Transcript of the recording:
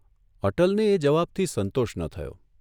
અટલને એ જવાબથી સંતોષ ન થયો.